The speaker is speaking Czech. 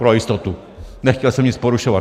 Pro jistotu, nechtěl jsem nic porušovat.